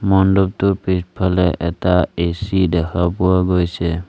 মণ্ডপটোৰ পিছফালে এটা এ_চি দেখা পোৱা গৈছে।